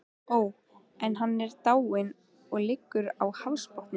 Ó, en hann er dáinn, og liggur á hafsbotni.